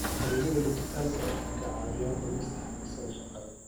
Adeegyada dijitaalka ah waxay kaa caawinayaan dhimista xafiiska shaqada.